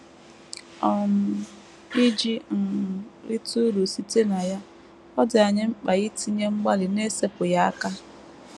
um Iji um rite uru site na ya, ọ dị anyị mkpa itinye mgbalị n’esepụghị aka.